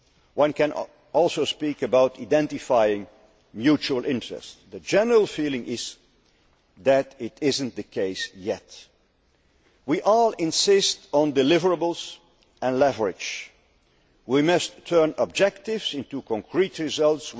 We can also speak about identifying mutual interests'. The general feeling is that this is not the case yet. We all insist on deliverables and leverage. We must turn objectives into concrete results.